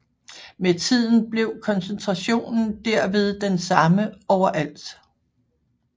Med tiden bliver koncentrationen derved den samme overalt